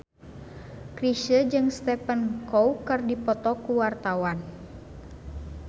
Chrisye jeung Stephen Chow keur dipoto ku wartawan